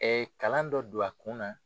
Ɛ kalan dɔ don a kun na